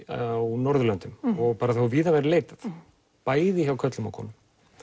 á Norðurlöndum og þó víða væri leitað bæði hjá körlum og konum